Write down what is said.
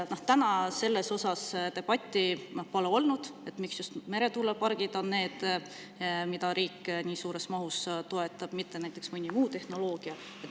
Seni pole olnud debatti selle üle, miks just meretuulepargid on need, mida riik nii suures mahus toetab, mitte mõni muu tehnoloogia.